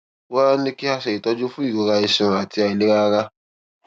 wá a ní kí wón ṣe ìtọjú fún ìrora iṣan àti àìlera ara